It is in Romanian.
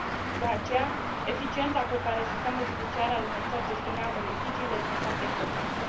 De aceea, eficiența cu care sistemul judiciar al unei țări gestionează litigiile este foarte importantă.